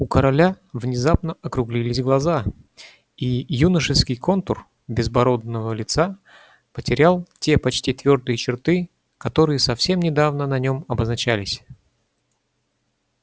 у короля внезапно округлились глаза и юношеский контур безбородного лица потерял те почти твёрдые черты которые совсем недавно на нём обозначались